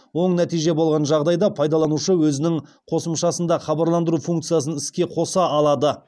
оң нәтиже болған жағдайда пайдаланушы өзінің қосымшасында хабарландыру функциясын іске қоса алады